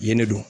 Yen ne don